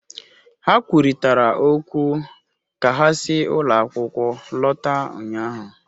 Ha kwurịtara okwu ka ha si ụlọ akwụkwọ lọta ụnyahụ